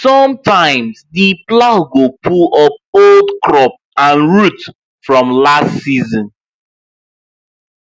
sometimes the plow go pull up old crop and root from last season